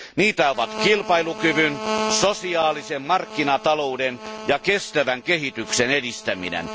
Niitä ovat kilpailukyvyn, sosiaalisen markkinatalouden ja kestävän kehityksen edistäminen.